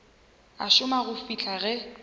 a šoma go fihla ge